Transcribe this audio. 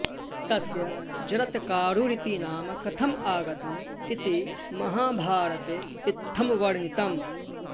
तस्य जरत्कारुरिति नाम कथम् आगतम् इति महाभारते इत्थं वर्णितम्